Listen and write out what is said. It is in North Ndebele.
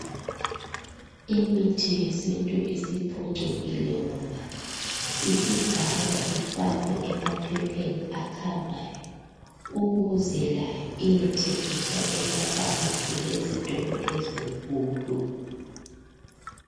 Imithi yesintu isiphucukile ngoba isigaywa ifakwe emaphepheni akhangayo ukuze layo iyethengiswa emapharmacy lezitolo ezinkulu.